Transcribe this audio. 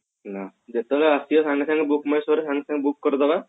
ନା ଯେତେବେଳେ ଆସିବ ସାଙ୍ଗେ ସାଙ୍ଗେ bookmyshow ରେ ସାଙ୍ଗେ ସାଙ୍ଗେ book କରିଦେବା